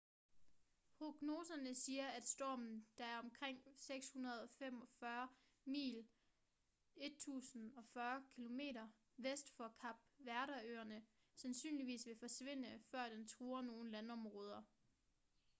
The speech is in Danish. prognoserne siger at stormen der er omkring 645 mil 1040 km vest for kap verde-øerne sandsynligvis vil forsvinde før den truer nogen landområder